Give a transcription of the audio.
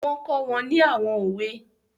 Wọ́n kọ́ wọn ní àwọn òwe